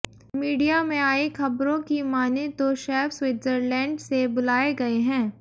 media में आईं खबरों की मानें तो शेफ स्विट्जरलैंड से बुलाए गए हैं